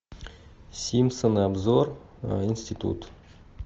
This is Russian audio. симпсоны обзор институт